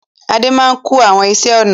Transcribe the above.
Adé máa ń kun àwọn iṣẹ́-ọnà.